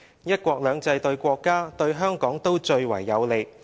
'一國兩制'對國家、對香港都最為有利。